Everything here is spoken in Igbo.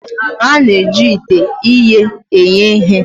A na-eji ite ighe eghe ihe.